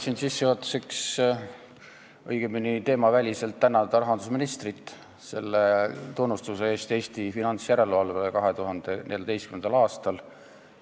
Tahan sissejuhatuseks, õigemini teemaväliselt, tänada rahandusministrit selle tunnustuse eest Eesti finantsjärelevalvele 2014. aastal.